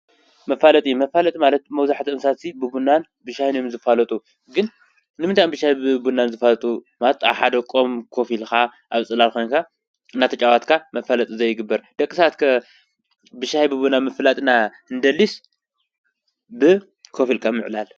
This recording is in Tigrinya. መፋለጢ፦ መፋለጢ ማለት መብዛሕትኡ ስባት ብቡናን ብሻህን እዮም ዝፋለጡ፣ ግን ንምንታይ እዮም ብቡናን ብሻህን ዝፋለጡ? ማለት ኣብ ሓደ ኦም ኮፍ ኢሎም ኣብ ፅላል ኮንካ እናተፃወትካ መፋለጢ ዘይግበር? ደቂ ሰባት ከ ብቡናን ሻሂን ድና እንደልስ ብኮፍ ኢለካ ምዕላል?